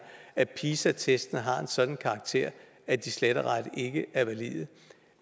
at pisa testene har en sådan karakter at de slet og ret ikke er valide